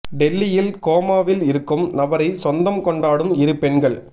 டெல்லியில் கோமாவில் இருக்கும் நபரை சொந்தம் கொண்டாடும் இரு பெண்கள்